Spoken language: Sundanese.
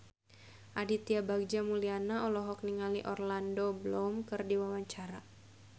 Aditya Bagja Mulyana olohok ningali Orlando Bloom keur diwawancara